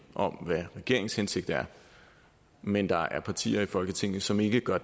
om hvad regeringens hensigt er men der er partier i folketinget som ikke gør